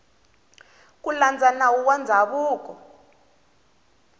ku landza nawu wa ndzhavuko